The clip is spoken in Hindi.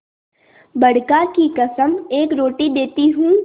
बड़का की कसम एक रोटी देती हूँ